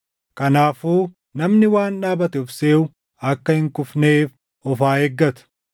Kanaafuu namni waan dhaabate of seʼu akka hin kufneef of haa eeggatu.